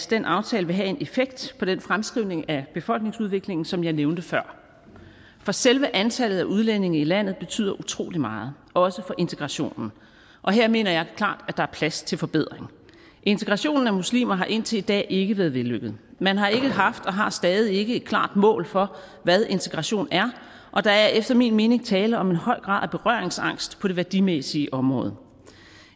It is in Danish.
den aftale vil have en effekt på den fremskrivning af befolkningsudviklingen som jeg nævnte før for selve antallet af udlændinge i landet betyder utrolig meget også for integrationen og her mener jeg klart at der er plads til forbedringer integrationen af muslimer har indtil i dag ikke været vellykket man har ikke haft og har stadig ikke et klart mål for hvad integration er og der er efter min mening tale om en høj grad af berøringsangst på det værdimæssige område